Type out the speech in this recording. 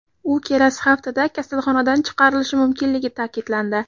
U kelasi haftada kasalxonadan chiqarilishi mumkinligi ta’kidlandi.